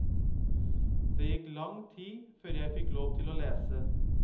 Det gikk lang tid før jeg fikk lov til å lese.